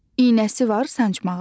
İynəsi var sancmağa.